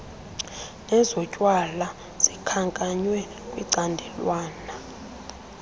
nezotywala likhankanywe kwicandelwana